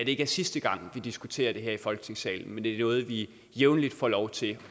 ikke er sidste gang vi diskuterer det her i folketingssalen men at det er noget vi jævnligt får lov til